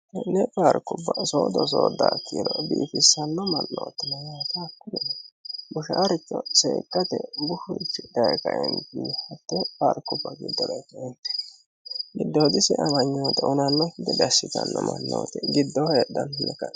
ko'ne paarkubba soodo soodaa kiiro biifissanno mannootti bushaaricho seekkate bushurichi daye kaeentini hattee paarkuba giddora e'e kaeentinni giddooyidise amanyoota hunannokki gede assitanno mannooti giddooho heedhannonno yaate.